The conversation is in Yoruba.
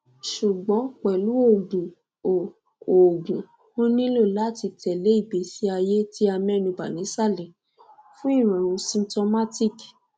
sugbon pelu oogun o oogun o nilo lati tele igbesi aye ti amenuba nisale fun irorun symtomatic